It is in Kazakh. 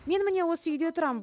мен міне осы үйде тұрамын